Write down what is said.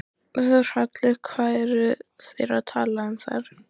Þórhallur: Hvað eru þeir að tala um þar?